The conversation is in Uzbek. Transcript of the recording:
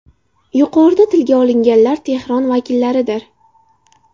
Yuqorida tilga olinganlar Tehron vakillaridir.